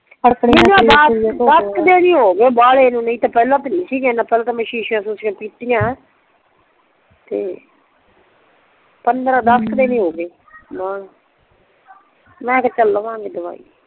ਮੈਂਨੂੰ ਆ ਦੱਸ ਕ ਦਿਨ ਹੋ ਗਏ ਪਹਿਲਾਂ ਤਾਂ ਨਹੀਂ ਸੀ ਪਹਿਲਾਂ ਤੇ ਮੈਂ ਸ਼ੀਸ਼ੀ ਸ਼ੁਸ਼ੀ ਪੀਤਿਆ ਤੇ ਪੰਦਰਾਂ ਦੱਸ ਕ ਦਿਨ ਹੋ ਗਏ ਮੈਂ ਕਿਹਾ ਚੱਲ ਲਵਾਂਗੇ ਦਵਾਈ